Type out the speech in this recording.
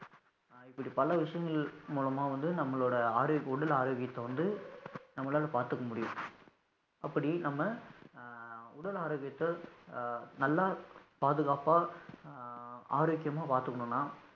இப்படி பல விஷயங்கள் மூலமா வந்து நம்மளோட ஆரோக்கிய உடல் ஆரோக்கியத்தை வந்து நம்மளால பாத்துக்க முடியும், அப்படி நம்ம உடல் ஆரோக்கியத்தை ஆஹ் நல்லா பாதுகாப்பா ஆஹ் ஆரோக்கியமா பாத்துக்கணும்ன்னா